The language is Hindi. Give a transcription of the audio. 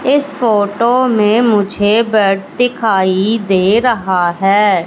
इस फोटो में मुझे बेड दिखाई दे रहा है।